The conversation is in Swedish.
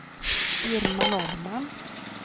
Irma Norrman